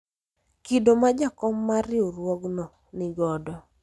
kido ma jakom mar riwruogno nigodo